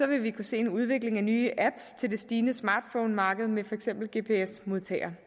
vi kunne se en udvikling af nye apps til det stigende smartphonemarked med for eksempel gps modtagere